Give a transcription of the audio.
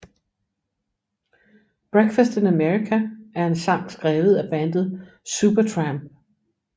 Breakfast in America er en sang skrevet af bandet Supertramp